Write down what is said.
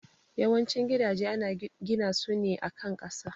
Yawan cin gidaje ana gina su ne a kan kasa